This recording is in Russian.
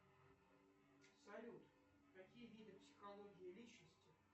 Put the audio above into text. салют какие виды психологии личности